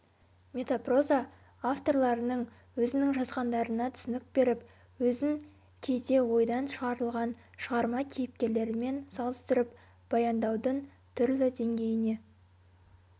метапроза авторларының өзінің жазғандарына түсінік беріп өзін кейде ойдан шығарылған шығарма кейіпкерлерімен салыстырып баяндаудың түрлі деңгейіне